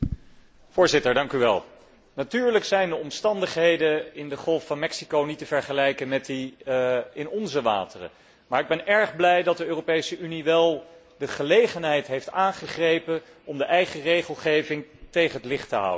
Voorzitter, natuurlijk zijn de omstandigheden in de Golf van Mexico niet te vergelijken met die in onze wateren, maar ik ben erg blij dat de Europese Unie wel de gelegenheid heeft aangegrepen om de eigen regelgeving tegen het licht te houden.